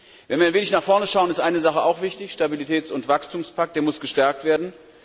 Wenn wir ein wenig nach vorn schauen ist eine Sache auch wichtig Der Stabilitäts und Wachstumspakt muss gestärkt werden.